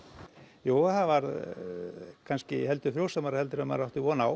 jú það var kannski heldur frjósamara en maður átti von á